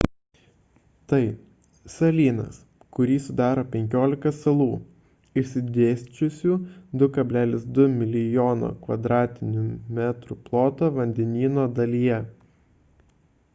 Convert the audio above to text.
tai – salynas kurį sudaro 15 salų išsidėsčiusių 2,2 mln km2 ploto vandenyno dalyje